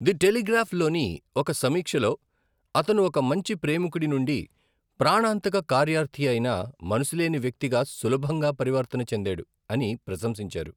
The టెలిగ్రాఫ్'లోని ఒక సమీక్షలో 'అతను ఒక మంచి ప్రేమికుడి నుండి ప్రాణాంతక కార్యార్థి అయిన మనసులేని వ్యక్తిగా సులభంగా పరివర్తన చెందేడు ' అని ప్రశంసించారు.